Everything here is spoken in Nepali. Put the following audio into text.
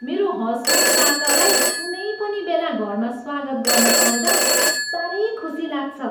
मेरो हँसमुख काकालाई कुनै पनि बेला घरमा स्वागत गर्न पाउँदा साह्रै खुसी लाग्छ।